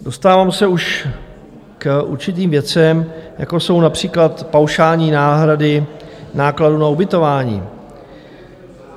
Dostávám se už k určitým věcem, jako jsou například paušální náhrady nákladů na ubytování.